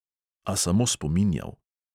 A samo spominjal.